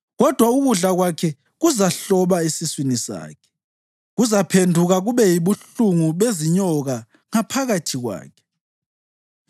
kodwa ukudla kwakhe kuzahloba esiswini sakhe; kuzaphenduka kube yibuhlungu bezinyoka ngaphakathi kwakhe.